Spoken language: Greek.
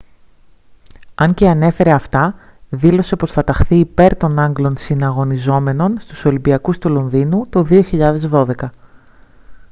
αν και ανέφερε αυτά δήλωσε πως θα ταχθεί υπέρ των άγγλων συναγωνιζόμενων στους ολυμπιακούς του λονδίνου το 2012